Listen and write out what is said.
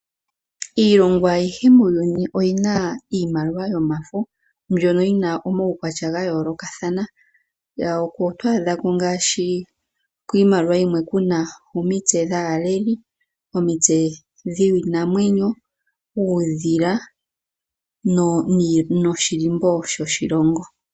Iilongo ayihe muuyuni oyina iimaliwa yomafo mbyono yina omawukwatya gayoolokathana, oto adhako ngaashi, kiimaliwa yimwe kuna omitse dhaaleli, omitse dhiinamwenyo, uudhila noshilimbo shoshilongo.